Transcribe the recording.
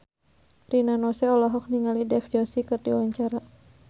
Rina Nose olohok ningali Dev Joshi keur diwawancara